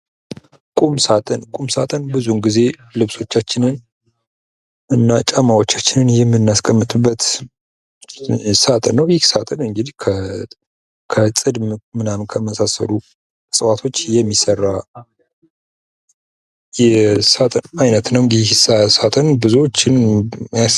የቤት ውስጥ የመደርደሪያ ዕቃዎች መጻሕፍትንና ሌሎች ቁሳቁሶችን ለማስቀመጥና ቦታን ለመቆጠብ ጠቃሚ ናቸው።